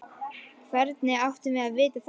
Hvernig áttum við að vita það?